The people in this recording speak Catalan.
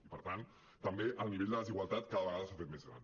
i per tant també el nivell de desigualtat cada vegada s’ha fet més gran